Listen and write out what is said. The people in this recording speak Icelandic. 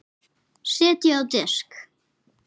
Setjið á disk.